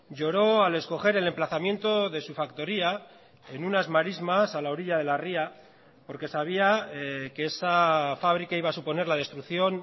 lloró al escoger el emplazamiento de su factoría en unas marismas a la orilla de la ría porque sabía que esa fábrica iba a suponer la destrucción